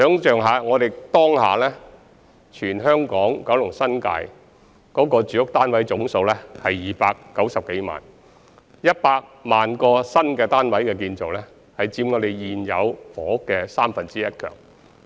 大家可以想象一下，當下香港島、九龍、新界的住屋單位總數是290多萬個 ，100 萬個新建單位之數已高達現有房屋總數的三分之一。